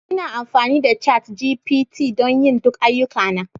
Ina amfani da ChatGPT don yin duk ayyukana